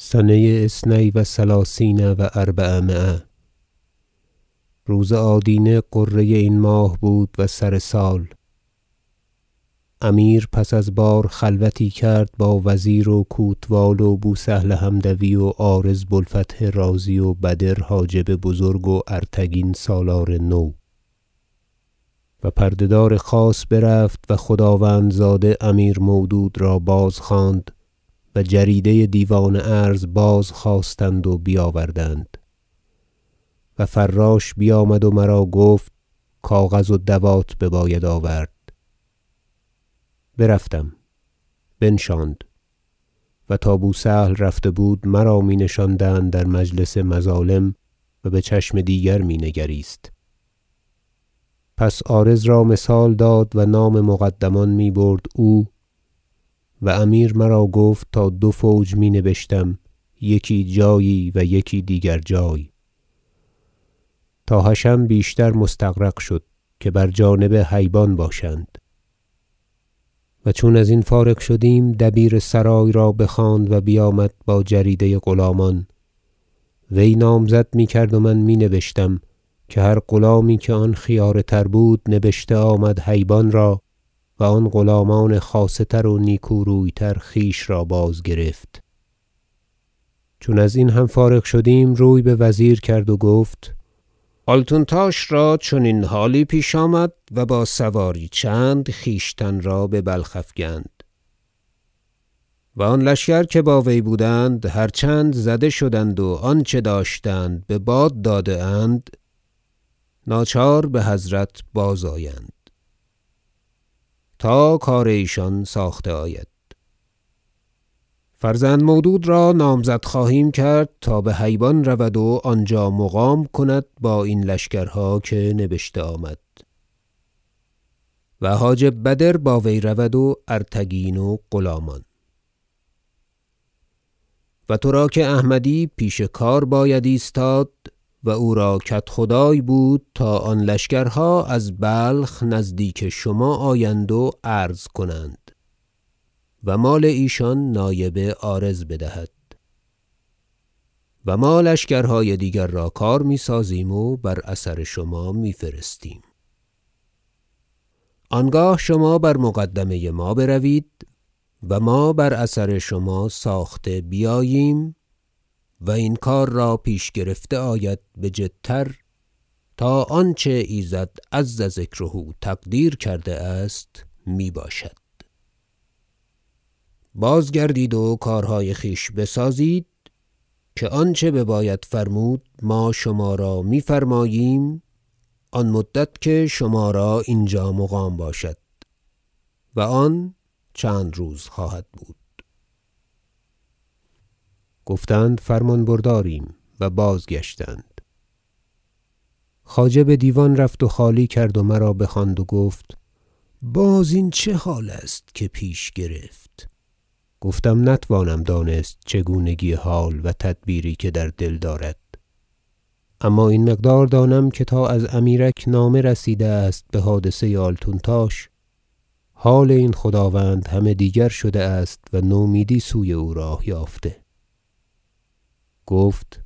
سنه اثنی و ثلثین و اربعمایه روز آدینه غره این ماه بود و سر سال امیر پس از بار خلوتی کرد با وزیر و کوتوال و بو سهل حمدوی و عارض و بو الفتح رازی و بدر حاجب بزرگ و ارتگین سالار نو و پرده دار خاص برفت و خداوندزاده امیر مودود را بازخواند و جریده دیوان عرض بازخواستند و بیاوردند و فراش بیامد و مرا گفت کاغذ و دوات بباید آورد برفتم بنشاند- و تا بو سهل رفته بود مرا می نشاندند در مجلس مظالم و بچشم دیگر می نگریست- پس عارض را مثال داد و نام مقدمان می برد او و امیر مرا گفت تا دو فوج می نبشتم یکی جایی و یکی دیگر جای تا حشم بیشتر مستغرق شد که بر جانب هیبان باشند و چون ازین فارغ شدیم دبیر سرای را بخواند و بیامد با جریده غلامان وی نامزد میکرد و من می نبشتم که هر غلامی که آن خیاره تر بود نبشته آمد هیبان را و آن غلامان خاصه تر و نیکو روی تر خویش را بازگرفت چون ازین هم فارغ شدیم روی بوزیر کرد و گفت آلتونتاش را چنین حالی پیش آمد و با سواری چند خویشتن را ببلخ افگند و آن لشکر که با وی بودند هر چند زده شدند و آنچه داشتند بباد داده اند ناچار بحضرت بازآیند تا کار ایشان ساخته آید فرزند مودود را نامزد خواهیم کرد تا به هیبان رود و آنجا مقام کند با این لشکرها که نبشته آمد و حاجب بدر با وی رود وارتگین و غلامان و ترا که احمدی پیش کار باید ایستاد و او را کدخدای بود تا آن لشکرها از بلخ نزدیک شما آیند و عرض کنند و مال ایشان نایب عارض بدهد و ما لشکرهای دیگر را کار میسازیم و بر اثر شما میفرستیم آنگاه شما بر مقدمه ما بروید و ما بر اثر شما ساخته بیاییم و این کار را پیش گرفته آید بجدتر تا آنچه ایزد عز ذکره تقدیر کرده است میباشد بازگردید و کارهای خویش بسازید که آنچه بباید فرمود ما شما را میفرماییم آن مدت که شما را اینجا مقام باشد و آن روز خواهد بود گفتند فرمان برداریم و بازگشتند خواجه بدیوان رفت و خالی کرد و مرا بخواند و گفت باز این چه حال است که پیش گرفت گفتم نتوانم دانست چگونگی حال و تدبیری که در دل دارد اما این مقدار دانم که تا از امیرک نامه رسیده است بحادثه آلتونتاش حال این خداوند همه دیگر شده است و نومیدی سوی او راه یافته گفت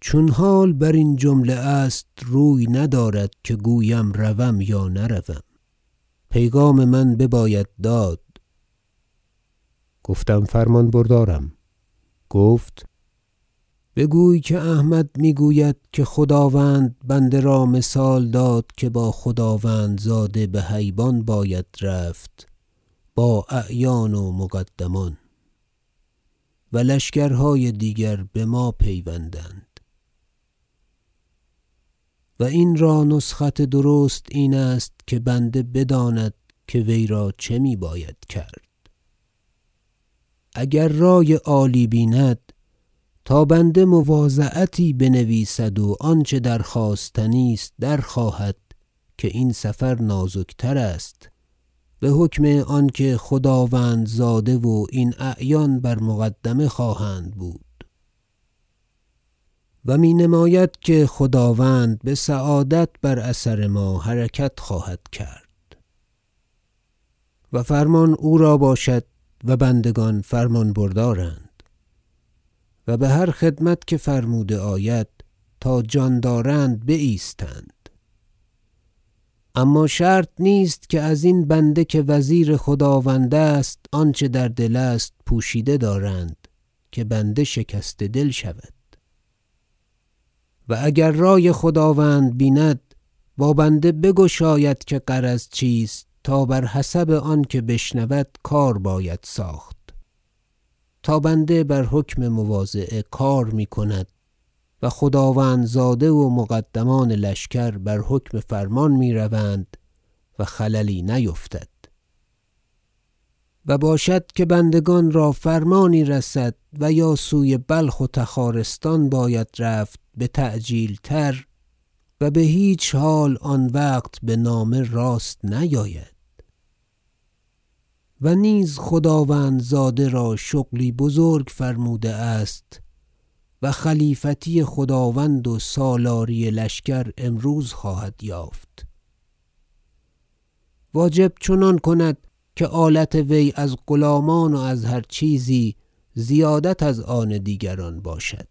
چون حال برین جمله است روی ندارد که گویم روم یا نروم پیغام من بباید داد گفتم فرمان بردارم گفت بگوی که احمد میگوید که خداوند بنده را مثال داد که با خداوندزاده به هیبان باید رفت با اعیان و مقدمان و لشکرهای دیگر بما پیوندد و این را نسخت درست اینست که بنده بداند که وی را چه می باید کرد اگر رای عالی بیند تا بنده مواضعتی بنویسد و آنچه درخواستنی است درخواهد که این سفر نازکتر است بحکم آنکه خداوندزاده و این اعیان بر مقدمه خواهند بود و می نماید که خداوند بسعادت بر اثر ما حرکت خواهد کرد و فرمان او را باشد و بندگان فرمان بردارند و بهر خدمت که فرموده آید تا جان دارند بایستند اما شرط نیست که ازین بنده که وزیر خداوند است آنچه در دل است پوشیده دارند که بنده شکسته دل شود و اگر رای خداوند بیند با بنده بگشاید که غرض چیست تا بر حسب آن که بشنود کار باید ساخت تا بنده بر حکم مواضعه کار میکند و خداوندزاده و مقدمان لشکر بر حکم فرمان میروند و خللی نیفتد و باشد که بندگان را فرمانی رسد و یا سوی بلخ و تخارستان باید رفت بتعجیل تر و بهیچ حال آن وقت بنامه راست نیاید و نیز خداوندزاده را شغلی بزرگ فرموده است و خلیفتی خداوند و سالاری لشکر امروز خواهد یافت واجب چنان کند که آلت وی از غلامان و از هر چیزی زیادت از آن دیگران باشد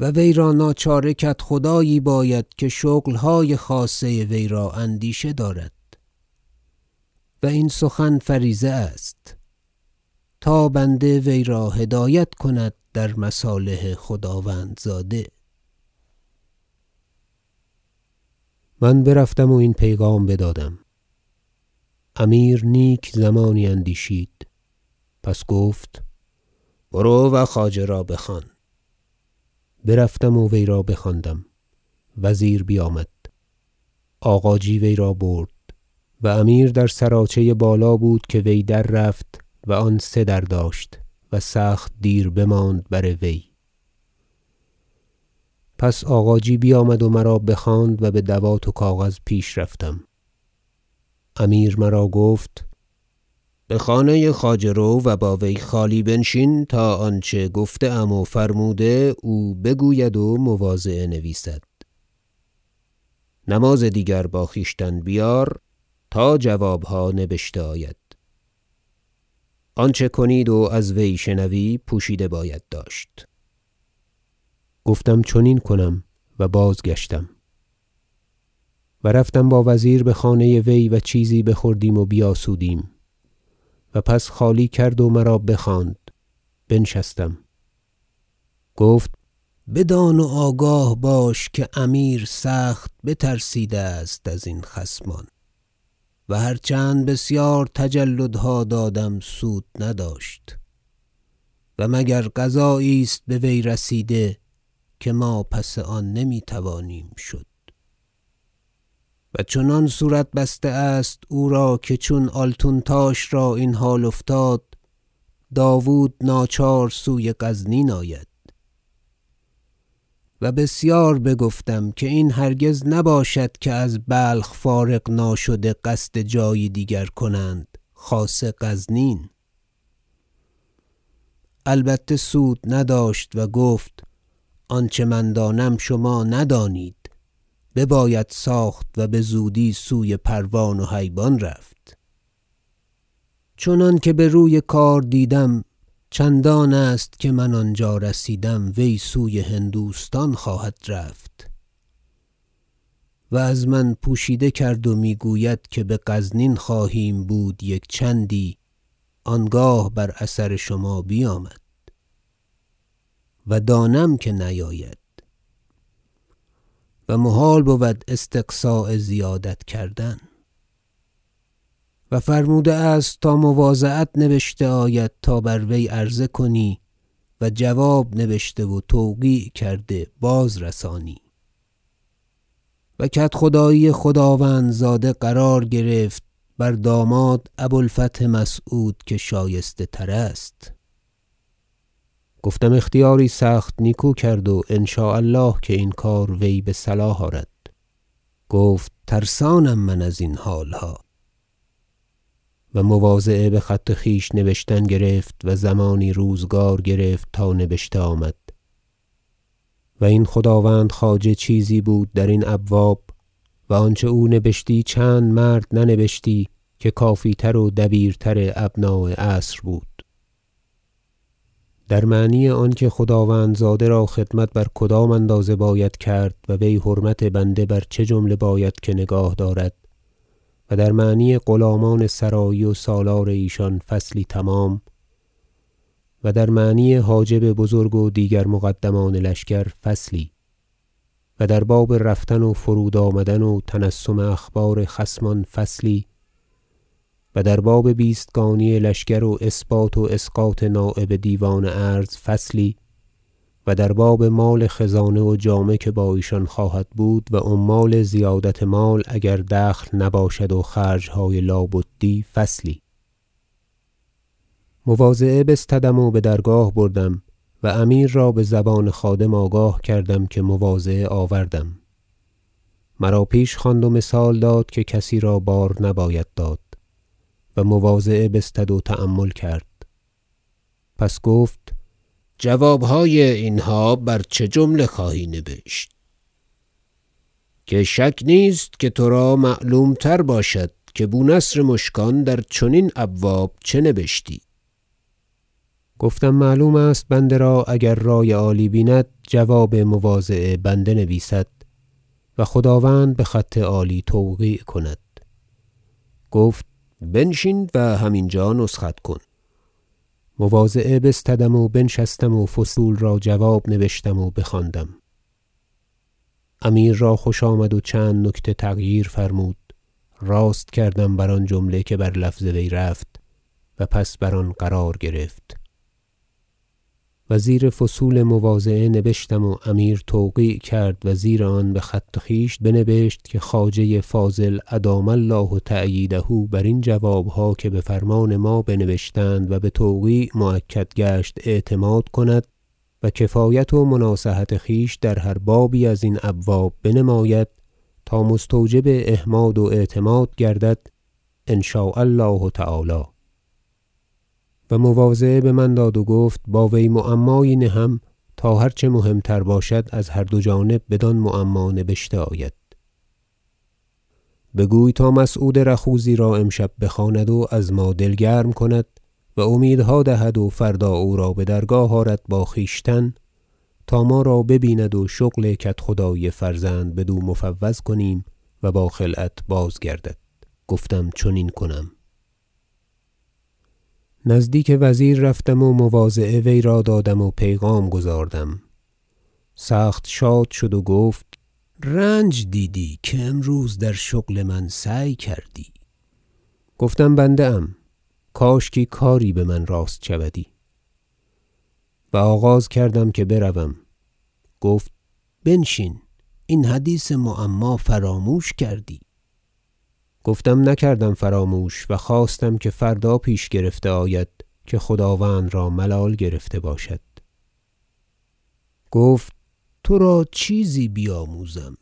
و وی را ناچاره کدخدایی باید که شغلهای خاصه وی را اندیشه دارد و این سخن فریضه است تا بنده وی را هدایت کند در مصالح خداوندزاده من برفتم و این پیغام بدادم امیر نیک زمانی اندیشید پس گفت برو و خواجه را بخوان برفتم و وی را بخواندم وزیر بیامد آغاجی وی را برد و امیر در سرایچه بالا بود که وی در رفت- و آن سه در داشت- و سخت دیر بماند بر وی پس آغاجی بیامد و مرا بخواند و با دوات و کاغذ پیش رفتم امیر مرا گفت بخانه خواجه رو و با وی خالی بنشین تا آنچه گفته ام و فرموده او بگوید و مواضعه نویسد نماز دیگر با خویشتن بیار تا جوابها نبشته آید آنچه کنید و از وی شنوی پوشیده باید داشت گفتم چنین کنم و بازگشتم و رفتم با وزیر بخانه وی و چیزی بخوردیم و بیاسودیم و پس خالی کرد و مرا بخواند بنشستم گفت بدان و آگاه باش که امیر سخت بترسیده است ازین خصمان و هر چند بسیار تجلدها دادم سود نداشت و مگر قضایی است به وی رسیده که ما پس آن نمیتوانیم شد و چنان صورت بسته است او را که چون آلتونتاش را این حال افتاد داود ناچار سوی غزنین آید و بسیار بگفتم که این هرگز نباشد که از بلخ فارغ ناشده قصد جایی دیگر کنند خاصه غزنین البته سود نداشت و گفت آنچه من دانم شما ندانید بباید ساخت و بزودی سوی پروان و هیبان رفت چنانکه بر وی کار دیدم چندان است که من آنجا رسیدم وی سوی هندوستان خواهد رفت و از من پوشیده کرد و میگوید که بغزنین خواهیم بود یک چندی آنگاه بر اثر شما بیامد و دانم که نیاید و محال بود استقصا زیادت کردن و فرموده است تا مواضعت نبشته آید تا بر وی عرضه کنی و جواب نبشته و توقیع کرده بازرسانی و کدخدایی خداوندزاده قرار گرفت بر داماد ابو الفتح مسعود که شایسته تر است گفتم اختیاری سخت نیکو کرد و ان شاء الله که این کار وی بصلاح آرد گفت ترسانم من ازین حالها و مواضعه بخط خویش نبشتن گرفت و زمانی روزگار گرفت تا نبشته آمد- و این خداوند خواجه چیزی بود درین ابواب و آنچه او نبشتی چند مرد ننبشتی که کافی تر و دبیرتر ابناء عصر بود - در معنی آنکه خداوندزاده را خدمت بر کدام اندازه باید کرد و وی حرمت بنده بر چه جمله باید که نگاه دارد و در معنی غلامان سرایی و سالار ایشان فصلی تمام و در معنی حاجب بزرگ و دیگر مقدمان لشکر فصلی و در باب رفتن و فرود آمدن و تنسم اخبار خصمان فصلی و در باب بیستگانی لشکر و اثبات و اسقاط نایب دیوان عرض فصلی و در باب مال خزانه و جامه ای که با ایشان خواهد بود و عمال زیادت مال اگر دخل نباشد و خرجهای لا بدی فصلی مواضعه بستدم و بدرگاه بردم و امیر را بزبان خادم آگاه کردم که مواضعه آوردم مرا پیش خواند و مثال داد که کسی را بار نباید داد و مواضعه بستد و تأمل کرد پس گفت جوابهای اینها بر چه جمله خواهی نبشت که شک نیست که ترا معلوم تر باشد که بو نصر مشکان در چنین ابواب چه نبشتی گفتم معلوم است بنده را اگر رای عالی بیند جواب مواضعه بنده نویسد و خداوند بخط عالی توقیع کند گفت بنشین و هم اینجا نسخت کن مواضعه بستدم و بنشستم و فصول را جواب نبشتم و بخواندم امیر را خوش آمد و چند نکته تغییر فرمود راست کردم بر آن جمله که بر لفظ وی رفت و پس بر آن قرار گرفت وزیر فصول مواضعه نبشتم و امیر توقیع کرد و زیر آن بخط خویش بنبشت که خواجه فاضل ادام الله تأییده برین جوابها که بفرمان ما به نبشتند و بتوقیع مؤکد گشت اعتماد کند و کفایت و مناصحت خویش در هر بابی از این ابواب بنماید تا مستوجب احماد و اعتماد گردد ان شاء الله و مواضعه بمن داد و گفت با وی معمایی نهم تا هر چه مهم تر باشد از هر دو جانب بدان معما نبشته آید بگوی تا مسعود رخوذی را امشب بخواند و از ما دل گرم کند و امیدها دهد و فردا او را بدرگاه آرد با خویشتن تا ما را ببیند و شغل کدخدایی فرزند بدو مفوض کنیم و با خلعت بازگردد گفتم چنین کنم نزدیک وزیر رفتم و مواضعه وی را دادم و پیغام گزاردم سخت شاد شد و گفت رنج دیدی که امروز در شغل من سعی کردی گفتم بنده ام کاشکی کاری بمن راست شودی و آغاز کردم که بروم گفت بنشین این حدیث معما فراموش کردی گفتم نکردم فراموش و خواستم که فردا پیش گرفته آید که خداوند را ملال گرفته باشد گفت ترا چیزی بیاموزم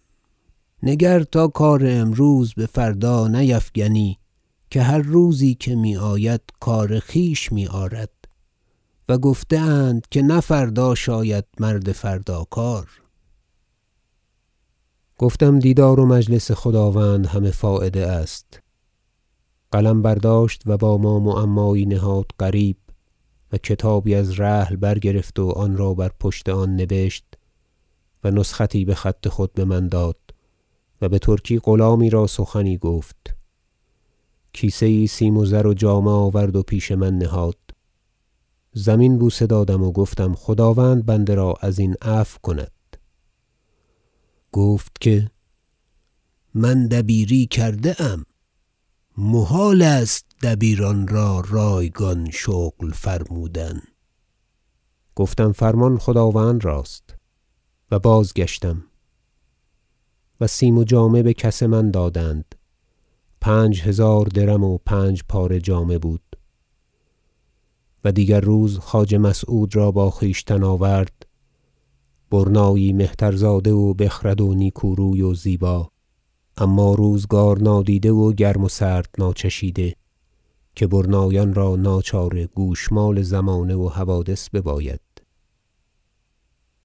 نگر تا کار امروز بفردا نیفگنی که هر روزی که میآید کار خویش میآرد و گفته اند که نه فردا شاید مرد فردا کار گفتم دیدار و مجلس خداوند همه فایده است قلم برداشت و با ما معمایی نهاد غریب و کتابی از رحل برگرفت و آنرا بر پشت آن نبشت و نسختی بخط خود بمن داد و بترکی غلامی را سخنی گفت کیسه یی سیم و زر و جامه آورد و پیش من نهاد زمین بوسه دادم و گفتم خداوند بنده را ازین عفو کند گفت که من دبیری کرده ام محال است دبیران را رایگان شغل فرمودن گفتم فرمان خداوند راست و بازگشتم و سیم و جامه بکس من دادند پنج هزار درم و پنج پاره جامه بود و دیگر روز خواجه مسعود را با خویشتن آورد برنایی مهترزاده و بخرد و نیکو روی و زیبا اما روزگار نادیده و گرم و سرد ناچشیده که برنایان را ناچاره گوشمال زمانه و حوادث بباید